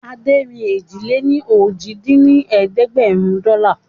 Adé rí èjì-lé-ní-ojì dín ní ẹ̀ẹ́dẹ́gbẹ́rún dọ́là